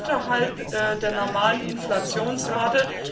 sogar unterhalb der normalen Inflationsrate.